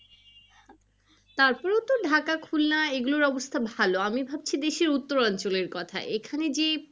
তারপরেও তো ঢাকা খুলনার এগুলোর অবস্থা ভালো আমি ভাবছি বেশি উত্তরঞ্চলের কথা এখানে যে